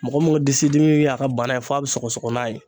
Mɔgɔ min ka disi dimi y'a ka bana ye f'a bɛ sɔgɔsɔgɔ n'a ye.